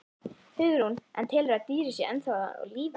Hugrún: En telurðu að dýrið sé ennþá á lífi?